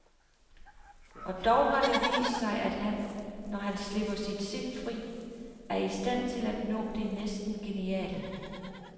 Og dog har det vist sig, at han, når han slipper sit sind fri, er i stand til at nå det næsten geniale.